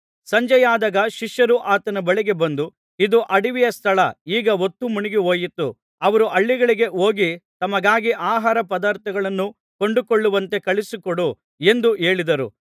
ಸಂಜೆಯಾದಾಗ ಶಿಷ್ಯರು ಆತನ ಬಳಿಗೆ ಬಂದು ಇದು ಅಡವಿಯ ಸ್ಥಳ ಈಗ ಹೊತ್ತು ಮುಳುಗಿಹೋಯಿತು ಅವರು ಹಳ್ಳಿಗಳಿಗೆ ಹೋಗಿ ತಮಗಾಗಿ ಆಹಾರ ಪದಾರ್ಥಗಳನ್ನು ಕೊಂಡುಕೊಳ್ಳುವಂತೆ ಕಳುಹಿಸಿಕೊಡು ಎಂದು ಹೇಳಿದರು